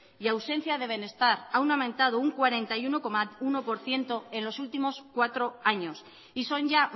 y ausencia de bienestar han aumentado un cuarenta y uno coma uno por ciento en los últimos cuatro años y son ya